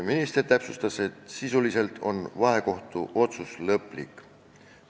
Minister täpsustas, et sisuliselt on vahekohtu otsus lõplik.